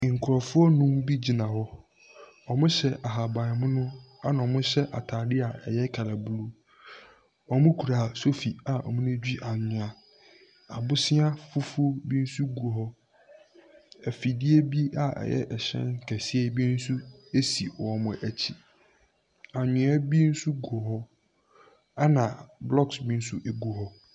Nkurɔfoɔ nnum bi gyina hɔ. Wɔhyɛ ahaban mono, ɛnna wɔhyɛ atade a ɛyɛ kala blue. Wɔkura sofi a wɔde redwi anwea. Abosea fufuo bi nso gu hɔ. Afidie bi a ɛyɛ hyɛn kɛseɛ bi nso si wɔn akyi. Anwea bi nso gu hɔ, ɛnna bloɔks bi nso gu hɔ.